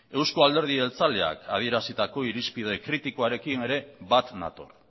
eusko alderdi jeltzaleak adierazitako irizpide kritikoarekin ere bat nator